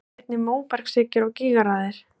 Þarna eru einnig móbergshryggir og gígaraðir.